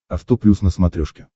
авто плюс на смотрешке